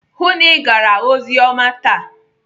Hụụ na Ị gara oziọma taa!